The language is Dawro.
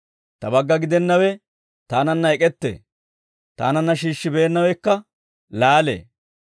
«Ta bagga gidennawe taananna ek'ettee; taananna shiishshi beennawekka laalee.